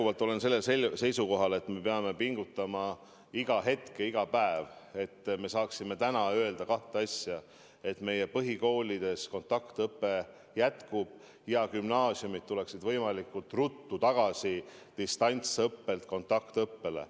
Ma olen endiselt sellel seisukohal, et me peame pingutama iga hetk ja iga päev, et me saaksime täna öelda kahte asja: et meie põhikoolides kontaktõpe jätkub ja gümnaasiumid tulevad võimalikult ruttu tagasi distantsõppelt kontaktõppele.